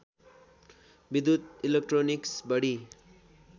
विद्युत इलेक्ट्रोनिक्स बढी